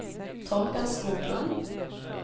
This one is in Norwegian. Torger Skoglund